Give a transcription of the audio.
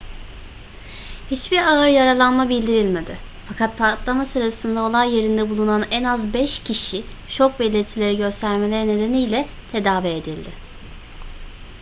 hiçbir ağır yaralanma bildirilmedi fakat patlama sırasında olay yerinde bulunan en az beş kişi şok belirtileri göstermeleri nedeniyle tedavi edildi